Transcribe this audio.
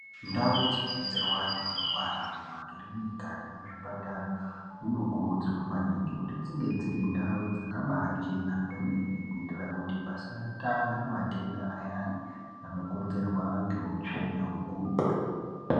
Ndau dzinobetserwa antu anorwa mumakirinika nemuzvipatara munokurudzirwa maningi kuti dzinge dziri ndau dzakabachena kwemene kuitira kuti pasatanga matenda ayani anokonzerwa ngeutsvina hwekuretu.